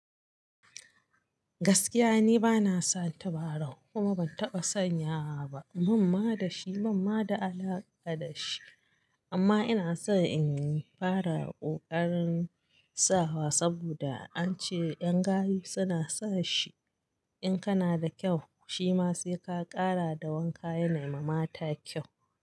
Gaskiya ni bana son tabarau, kuma ban taɓa sanyawa ba. Ban ma da shi, Ban ma da alaƙa da shi. Amma ina so in fara kokarin sawa saboda an ce ƴan gayu suna sa shi, in kana da kyau, shima sai ka ƙara da wanka yana mai mata kyau.